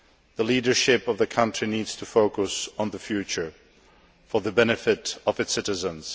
The leadership of the country needs to focus on the future for the benefit of its citizens.